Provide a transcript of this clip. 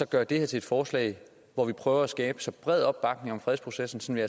gøre det her til et forslag hvor vi prøver at skabe så bred opbakning om fredsprocessen så vi